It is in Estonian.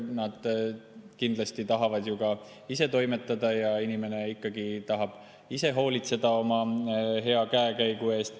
Nad kindlasti tahavad ju ka ise toimetada ja inimene ikkagi tahab ise hoolitseda oma hea käekäigu eest.